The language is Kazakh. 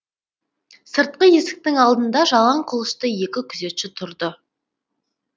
сыртқы есіктің алдында жалаң қылышты екі күзетші тұрды